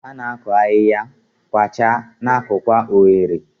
Ha na-akụ ahihia, kwachaa, na-akụkwa oghere.